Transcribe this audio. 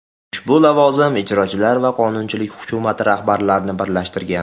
Ushbu lavozim ijrochilar va qonunchilik hukumati rahbarlarini birlashtirgan.